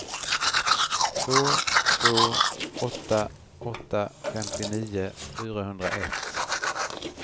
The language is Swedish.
två två åtta åtta femtionio fyrahundraett